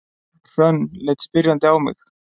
Hrönn leit spyrjandi á mig.